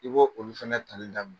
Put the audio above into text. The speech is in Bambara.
I bɔ olu fana tali daminɛ.